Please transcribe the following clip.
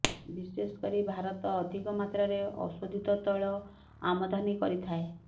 ବିଶେଷ କରି ଭାରତ ଅଧିକ ମାତ୍ରାରେ ଅଶୋଧିତ ତୈଳ ଆମଦାନୀ କରିଥାଏଅ